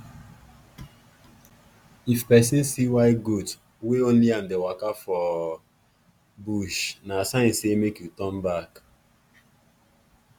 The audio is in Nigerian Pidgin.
if person see white goat wey only am dey waka for for bush na sign say make you turn back.